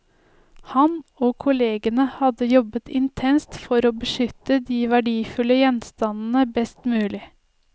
Han og kollegene har jobbet intenst for å beskytte de verdifulle gjenstandene best mulig.